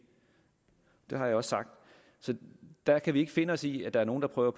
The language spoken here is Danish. har jeg også sagt der kan vi ikke finde os i at der er nogle der prøver